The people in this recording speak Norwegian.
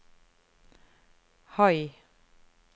høy